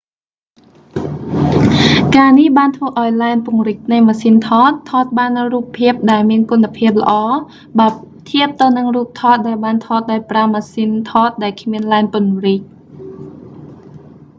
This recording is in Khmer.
ការនេះបានធ្វើឱ្យលែនពង្រីកនៃម៉ាស៊ីនថត ថតបាននូវរូបភាពដែលមានគុណភាពល្អបើធៀបទៅនឹងរូបថតដែលបានថតដោយប្រើម៉ាស៊ីនថតដែលគ្មានលែនពង្រីក